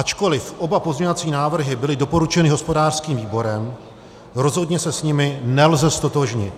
Ačkoliv oba pozměňovací návrhy byly doporučeny hospodářským výborem, rozhodně se s nimi nelze ztotožnit.